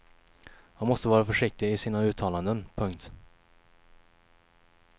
Han måste vara försiktig i sina uttalanden. punkt